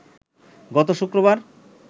গত শুক্রবার